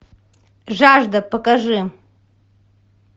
жажда покажи